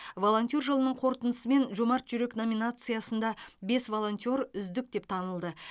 волонтер жылының қорытындысымен жомарт жүрек номинациясында бес волонтер үздік деп танылды